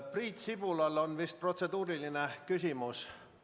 Priit Sibulal on vist protseduuriline küsimus?